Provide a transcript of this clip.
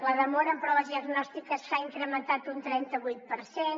la demora en proves diagnòstiques s’ha incrementat un trenta vuit per cent